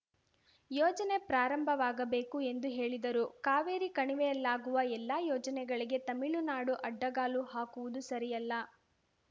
ಯೋಜನೆ ಪ್ರಾರಂಭವಾಗಬೇಕು ಎಂದು ಹೇಳಿದರು ಕಾವೇರಿ ಕಣಿವೆಯಲ್ಲಾಗುವ ಎಲ್ಲಾ ಯೋಜನೆಗಳಿಗೆ ತಮಿಳುನಾಡು ಅಡ್ಡಗಾಲು ಹಾಕುವುದು ಸರಿಯಲ್ಲ